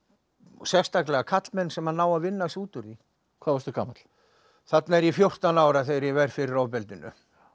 sérstaklega karlmenn sem ná að vinna sig út úr því hvað varstu gamall þarna er ég fjórtán ára þegar ég verð fyrir ofbeldinu